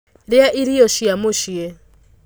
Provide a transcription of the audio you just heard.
Rĩa irio cia mũciĩ.